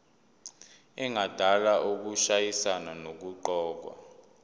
engadala ukushayisana nokuqokwa